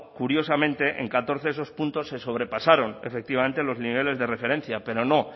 curiosamente en catorce de esos puntos se sobrepasaron efectivamente los niveles de referencia pero no